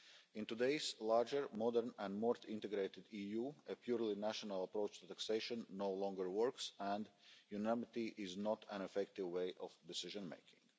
In today's larger, modern and more integrated EU, a purely national approach to taxation no longer works and unanimity is not an effective way of decision making.